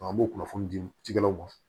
an b'o kunnafoni di cikɛlaw ma